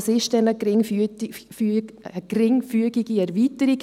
Was ist dann eine geringfügige Erweiterung?